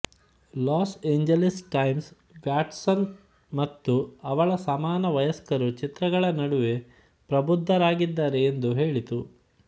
loss Angeles Times Watson ಮತ್ತು ಅವಳ ಸಮಾನ ವಯಸ್ಕರು ಚಿತ್ರಗಳ ನಡುವೆ ಪ್ರಬುದ್ಧರಾಗಿದ್ದಾರೆ ಎಂದು ಹೇಳಿತು